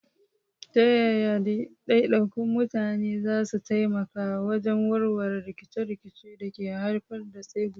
Ta yaya daidaikun mutane za su taimaka wajen warware rikice-rikicen da ke haifar da tsegumi?